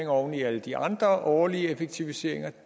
oven i alle de andre årlige effektiviseringer